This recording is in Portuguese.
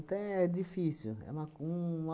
Então, é difícil. É uma co um